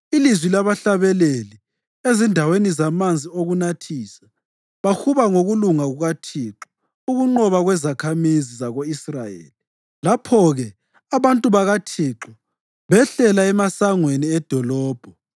ilizwi labahlabeleli ezindaweni zamanzi okunathisa. Bahuba ngokulunga kukaThixo, ukunqoba kwezakhamizi zako-Israyeli. Lapho-ke abantu bakaThixo behlela emasangweni edolobho.